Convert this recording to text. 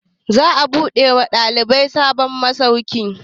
Za mu buɗe wa ɗalibai sabon masauki